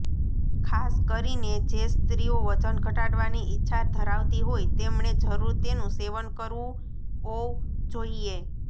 ખાસ કરીને જે સ્ત્રીઓ વજન ઘટાડવાની ઇચ્છા ધરાવતી હોય તેમણે જરૂર તેનું સેવન કરવું ઔજોઇએ